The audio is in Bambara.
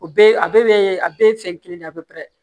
O bɛɛ a bɛɛ bɛ a bɛɛ ye fɛn kelen de ye a bɛ pɛrɛn